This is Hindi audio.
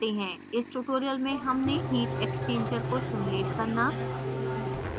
इस tutorial में हमने heat exchanger को simulate करना